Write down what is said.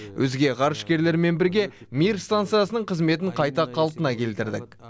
өзге ғарышкерлермен бірге мир станциясының қызметін қайта қалпына келтірдік